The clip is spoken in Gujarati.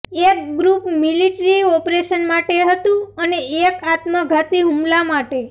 એક ગ્રૂપ મિલિટ્રી ઓપરેશન માટે હતું અને એક આત્મઘાતી હુમલા માટે